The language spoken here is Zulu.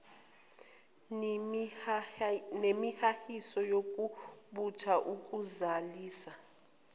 nemihahiso yokubutha ukuzalisa